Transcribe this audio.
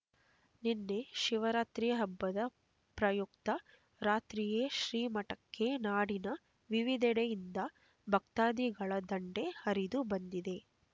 ನಿನ್ನೆ ಶಿವರಾತ್ರಿ ಹಬ್ಬದ ಪ್ರಯುಕ್ತ ರಾತ್ರಿಯೇ ಶ್ರೀಮಠಕ್ಕೆ ನಾಡಿನ ವಿವಿಧೆಡೆಯಿಂದ ಭಕ್ತಾದಿಗಳ ದಂಡೇ ಹರಿದು ಬಂದಿದ್ದು